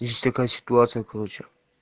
есть такая ситуация короче